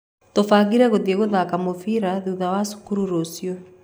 Tũbangire gũthie gũthaka mũbira thutha wa thukuru rũciũ.